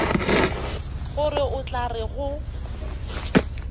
gore o tla re go